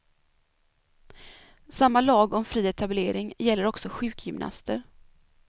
Samma lag om fri etablering gäller också sjukgymnaster.